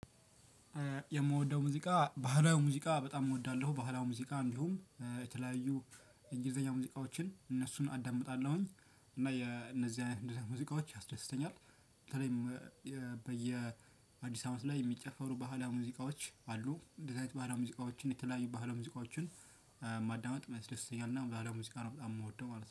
የምወደው ሙዚቃ ባህላዊ ሙዚቃ በጣም እወዳለሁ ባህላዊ ሙዚቃ እንዲሁም የተለያዩ እንግሊዘኛ ሙዚቃዎችን እነሱን አዳምጣለሁኝ እና የእነዚህ አይነት ሙዚቃዎች ያስደስተኛል። በተለይም በየ አዲስ አመት ላይ የሚጨፈሩ ባህላዊ ሙዚቃዎች አሉ። እንደዚህ አይነት ባህላዊ ሙዚቃዎችን የተለያዩ ባህላዊ ሙዚቃዎችን። ማዳመጥ ያስደስተኛል እና ባህላዊ ሙዚቃ ነው በጣም የምወደው ማለት ነው